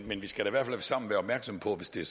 men vi skal i hvert fald sammen være opmærksom på hvis det